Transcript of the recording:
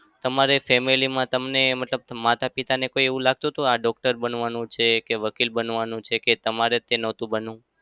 તમારી family માં તમને મતલબ માતા-પિતાને કઈ એવું લાગતું હતુ કે આ doctor બનાવાનો છે કે વકીલ બનાવાનો કે તમારે જ નતું બનવું?